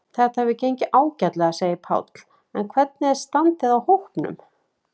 Þetta hefur gengið ágætlega, segir Páll en hvernig er standið á hópnum?